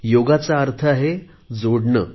योगाचा अर्थ आहे जोडणे